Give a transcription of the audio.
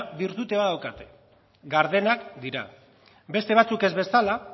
bertute bat daukate gardenak dira beste batzuek ez bezala